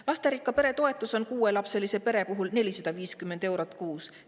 Lasterikka pere toetus on kuuelapselise pere puhul 450 eurot kuus.